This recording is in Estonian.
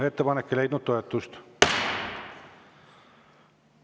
Ettepanek ei leidnud toetust.